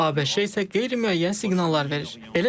ABŞ isə qeyri-müəyyən siqnallar verir.